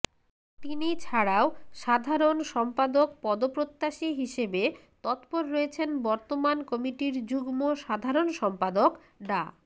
তিনি ছাড়াও সাধারণ সম্পাদক পদপ্রত্যাশী হিসেবে তৎপর রয়েছেন বর্তমান কমিটির যুগ্ম সাধারণ সম্পাদক ডা